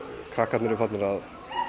krakkarnir eru farnir að